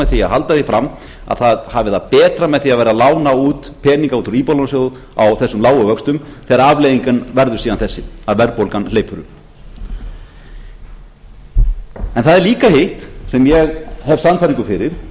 því að halda því fram að það hafi það betra með því að vera að lána út peninga út úr íbúðalánasjóði á þessum lágu vöxtum þegar afleiðingin verður síðan þessi að verðbólgan hleypur upp það er líka hitt sem ég hef sannfæringu fyrir